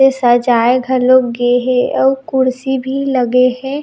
सजाए घलो गेहे अउ कुर्सी भी लगे हे --